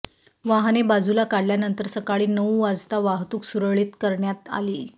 वाहने बाजूला काढल्यानंतर सकाळी नऊ वाजता वाहतूक सुरळीत करण्यात आली